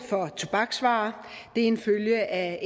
for tobaksvarer det er en følge af